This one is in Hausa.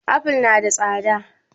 Aful na da tsada